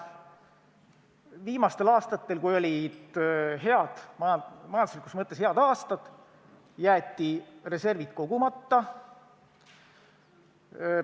Viimastel aastatel, kui olid majanduslikus mõttes head aastad, jäeti reservid kogumata.